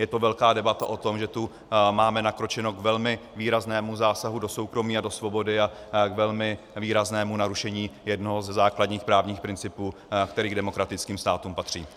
Je to velká debata o tom, že tu máme nakročeno k velmi výraznému zásahu do soukromí a do svobody a k velmi výraznému narušení jednoho ze základních právních principů, který k demokratickým státům patří.